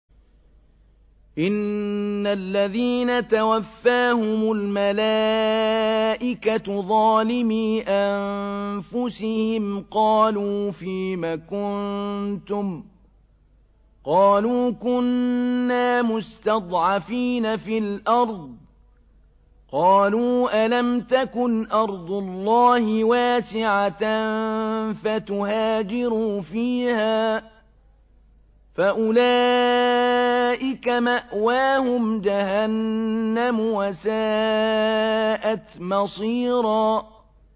إِنَّ الَّذِينَ تَوَفَّاهُمُ الْمَلَائِكَةُ ظَالِمِي أَنفُسِهِمْ قَالُوا فِيمَ كُنتُمْ ۖ قَالُوا كُنَّا مُسْتَضْعَفِينَ فِي الْأَرْضِ ۚ قَالُوا أَلَمْ تَكُنْ أَرْضُ اللَّهِ وَاسِعَةً فَتُهَاجِرُوا فِيهَا ۚ فَأُولَٰئِكَ مَأْوَاهُمْ جَهَنَّمُ ۖ وَسَاءَتْ مَصِيرًا